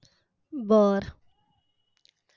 बर